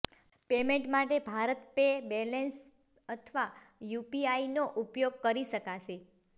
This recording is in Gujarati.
પેમેન્ટ માટે ભારતપે બેલેન્સ અથવા યુપીઆઈનો ઉપયોગ કરી શકાશે